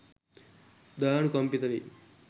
දයානුකම්පිත වෙයි.